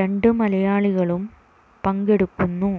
രണ്ട് മലയാളികളും പങ്കെടുക്കുന്നു